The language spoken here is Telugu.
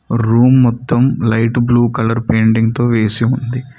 రూమ్ మొత్తం లైట్ బ్లూ కలర్ పెయింటింగ్ తో వేసి ఉంది.